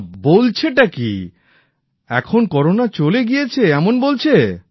না বলছে কি এখন করোনা চলে গিয়েছে এমন বলছে